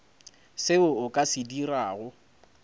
seo o ka se dirago